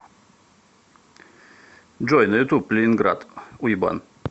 джой на ютуб ленинград уебан